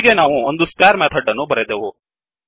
ಹೀಗೆ ನಾವು ಒಂದು ಸ್ಕ್ವೇರ್ ಮೆಥಡ್ ಅನ್ನು ಬರೆದೆವು